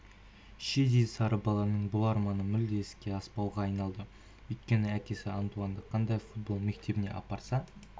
шидей сары баланың бұл арманы мүлде іске аспауға айналды өйткені әкесі антуанды қандай футбол мектебіне апарса